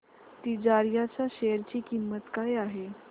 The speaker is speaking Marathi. तिजारिया च्या शेअर ची किंमत काय आहे